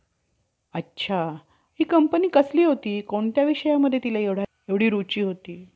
ती एकंदर सर्व सृष्टी~ सृष्टिक्रमांशी ताटून पाहिली म्हणजे सर्व खो~ खोटी आहे. असे आपणास कळून येते. म्हणजेच, ती अशी,